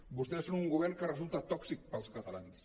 vostès són un govern que resulta tòxic per als catalans